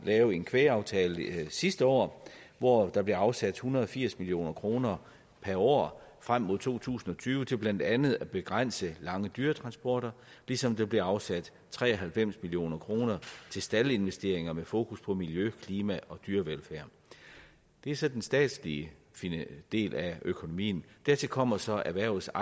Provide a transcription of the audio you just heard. lave en kvægaftale sidste år hvor der blev afsat en hundrede og firs million kroner per år frem mod to tusind og tyve til blandt andet at begrænse lange dyretransporter ligesom der blev afsat tre og halvfems million kroner til staldinvesteringer med fokus på miljø klima og dyrevelfærd det er så den statslige del af økonomien dertil kommer så erhvervets